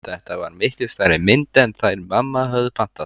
Þetta var miklu stærri mynd en þær mamma höfðu pantað.